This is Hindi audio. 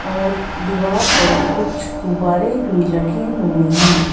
और दीवार पर कुछ गुब्बारे भी लगे हुए हैं।